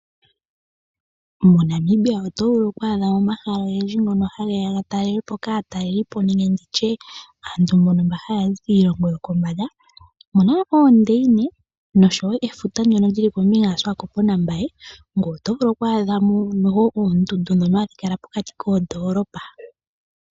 MoNamibia oto vulu okwaadha mo omahala ogendji ngono hage ya ga talelwe po kaatalelipo nenge ndi tye kaantu mbono mba haya za kiilongo yokombanda, oku na oondeyine nosho wo efuta ndyono li li kombinga yaSiwakopo naMbaye, ngoye oto vulu okwaadha mo oondundu ndhono hadhi kala pokati koondoolopa.